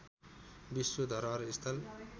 विश्व धरोहर स्थल